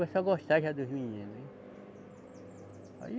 Começou a gostar já dos meninos, né. Aí